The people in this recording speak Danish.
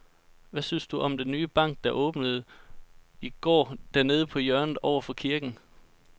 Hvad synes du om den nye bank, der åbnede i går dernede på hjørnet over for kirken?